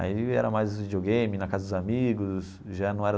Aí era mais videogame, na casa dos amigos, já não era.